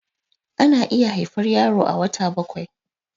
ana iya haifar yaro a wata bakwai